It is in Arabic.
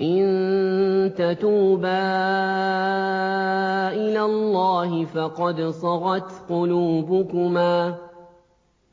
إِن تَتُوبَا إِلَى اللَّهِ فَقَدْ صَغَتْ قُلُوبُكُمَا ۖ